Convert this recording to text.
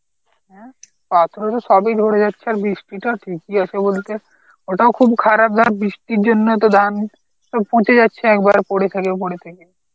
হ্যাঁ পাথরে তো সবই ঝরে যাচ্ছে আর বৃষ্টি টা ঠিকই আছে বলতে. ওটাও খুব খারাপ ধর বৃষ্টির জন্য তো ধান যাচ্ছে একবার পরে থেকে পরে থেকে.